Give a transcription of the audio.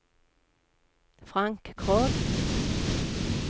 Frank Krogh